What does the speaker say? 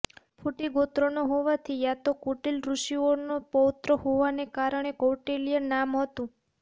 કુટિલ ગોત્રનો હોવાથી યા તો કુટિલ ઋષિઓનો પૌત્ર હોવાને કારણે કૌટિલ્ય નામ હતું